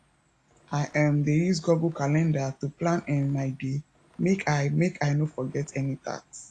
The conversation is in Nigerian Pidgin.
i um dey use google calender to plan um my day make i make i no forget any task